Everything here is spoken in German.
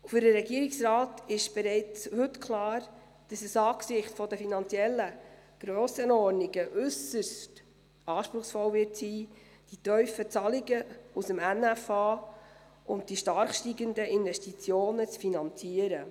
Für den Regierungsrat ist bereits heute klar, dass es angesichts der finanziellen Grössenordnungen äusserst anspruchsvoll sein wird, die tiefen Zahlungen aus dem NFA und die stark steigenden Investitionen zu finanzieren.